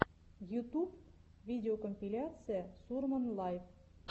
ютуб видеокомпиляция сурман лайв